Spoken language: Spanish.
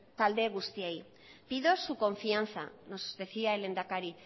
talde guztiei pido su confianza nos decía el lehendakari